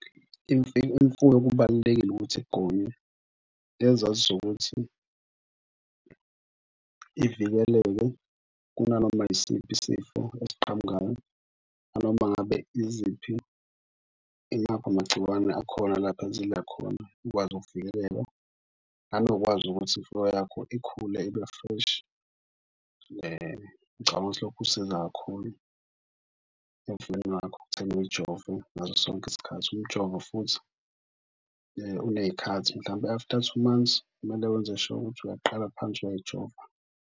Imfuyo kubalulekile ukuthi igonywe ngezathu zokuthi ivikeleke kunanoma isiphi isifo esiqhamukayo nanoma ngabe iziphi, imaphi amagciwane akhona lapha ezidla khona ikwazi ukuvikeleka nanokwazi ukuthi imfuyo yakho ikhule ibe fresh. Ngicabanga ukuthi lokhu kusiza kakhulu emfuyweni yakho ekutheni uyijove ngaso sonke isikhathi. Umjovo futhi uney'khathi mhlawumpe after two months, kumele wenze sure ukuthi uyaqala phansi uyayijova.